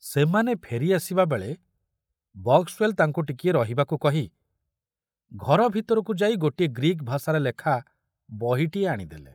ସେମାନେ ଫେରି ଆସିବା ବେଳେ ବକ୍ସୱେଲ ତାଙ୍କୁ ଟିକିଏ ରହିବାକୁ କହି ଘର ଭିତରକୁ ଯାଇ ଗୋଟିଏ ଗ୍ରୀକ ଭାଷାରେ ଲେଖା ବହିଟିଏ ଆଣିଦେଲେ।